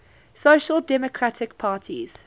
social democratic parties